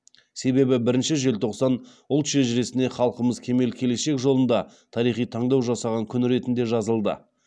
себебі бірінші желтоқсан ұлт шежіресіне халқымыз кемел келешек жолында тарихи таңдау жасаған күн ретінде жазылды